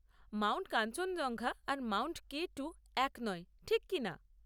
Mount Kanchenjunga আর Mount K two এক নয়, ঠিক কি না?